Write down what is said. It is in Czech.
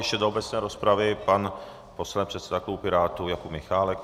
Ještě do obecné rozpravy pan poslanec předseda klubu Pirátů Jakub Michálek.